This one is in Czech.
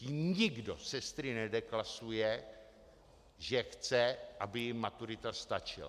Tím nikdo sestry nedeklasuje, že chce, aby jim maturita stačila.